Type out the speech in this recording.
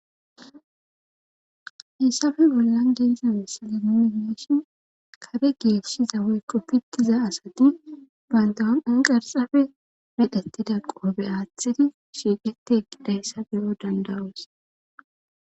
hayssafe bollan geyzawessaliniimeshin kare geesshiza wey ko pittiza asati bantahanqan qarxafe medhettida qoobe aaththidi shiiqeti eqqidayssa beyo dandawos